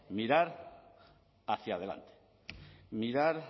mirar hacia adelante mirar